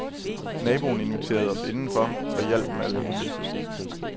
Naboen inviterede os inden for og hjalp med alt muligt.